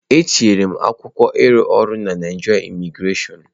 Etinyere m akwụkwọ ịrụ ọrụ na Naịjirịa Imigrasion.